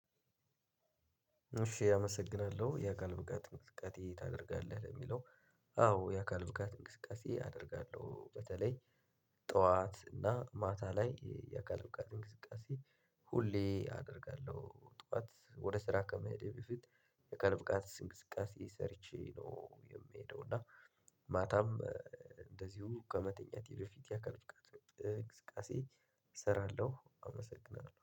እሺ አመሰግናለሁ የአካል ብቃት እንቅስቃሴ ታደርጋለህ ለሚለው? አዎ የአካል ብቃት እንቅስቃሴ አደርጋለሁ። በተለይ ጠዋት እና ማታ ላይ የአካል ብቃት እንቅስቃሴ ሁሌ አደርጋለሁ። ጠዋት ወደ ስራ ከመሄዴ በፊት የአካል ብቃት እንቅስቃሴ ሰርቼ ነው የምሄደው። እና ማታም እንደዚሁ ከመተኛቴ በፊት የአካል ብቃት እንቅስቃሴ እሰራለሁ። አመሰግናለሁ